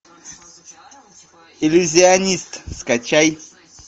иллюзионист скачай